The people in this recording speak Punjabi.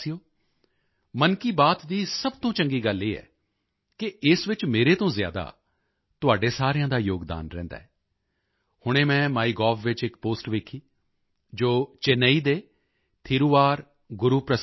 ਮੇਰੇ ਪਿਆਰੇ ਦੇਸ਼ਵਾਸੀਓ ਮਨ ਕੀ ਬਾਤ ਦੀ ਸਭ ਤੋਂ ਚੰਗੀ ਗੱਲ ਇਹ ਹੈ ਕਿ ਇਸ ਵਿੱਚ ਮੇਰੇ ਤੋਂ ਜ਼ਿਆਦਾ ਤੁਹਾਡੇ ਸਾਰਿਆਂ ਦਾ ਯੋਗਦਾਨ ਰਹਿੰਦਾ ਹੈ ਹੁਣੇ ਮੈਂ ਮਾਈਗੋਵ ਵਿੱਚ ਇਕ ਪੋਸਟ ਵੇਖੀ ਜੋ ਚੇਨਈ ਦੇ ਥਿਰੂ ਆਰ